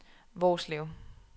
Hvorslev